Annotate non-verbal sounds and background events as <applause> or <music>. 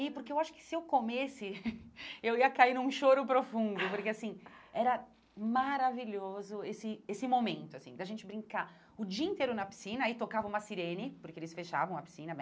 E porque eu acho que se eu comesse, <laughs> eu ia cair num choro profundo, porque assim, era maravilhoso esse esse momento, assim, da gente brincar o dia inteiro na piscina, aí tocava uma sirene, porque eles fechavam a piscina né.